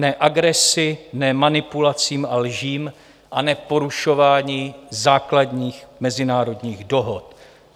"Ne" agresi, "ne" manipulacím a lžím a "ne" porušování základních mezinárodních dohod.